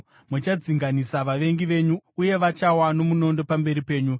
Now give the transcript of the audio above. Muchadzinganisa vavengi venyu, uye vachawa nomunondo pamberi penyu.